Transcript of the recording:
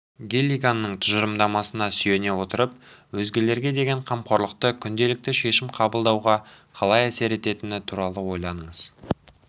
гиллиганның тұжырымдамасына сүйене отырып өзгелерге деген қамқорлықтың күнделікті шешім қабылдауға қалай әсер ететіні туралы ойланыңыз